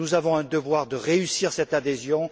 Nous avons un devoir de réussir cette adhésion.